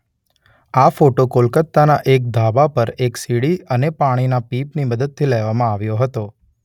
આ ફોટો કોલકાતાના એક ધાબા પર એક સીડી અને પાણીના પીપની મદદથી લેવામાં આવ્યો હતો.